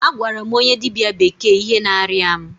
A gwara m onye dịbịa bekee ihe na-arịa mụ.